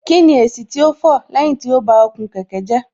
Kíni èsì tó fọ̀ lẹ́yìn tí ó ba okùn kẹ̀kẹ́ jẹ́